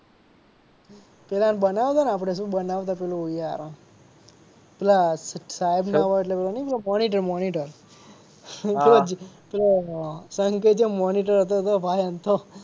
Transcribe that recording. પેલા ને બનાવતા ને આપડે શું બનાવતા પેલું યાર પેલા સાહેબ ના હોય ને એટલે પેલું નહીં મોનીટર મોનીટર પેલો સંકેતયઓ મોનીટર હતો ભાઈ અમથો